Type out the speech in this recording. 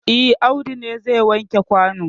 E, Audu ne zai wanke kwano.